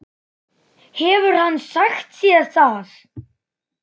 Hefur hann sagt þér það?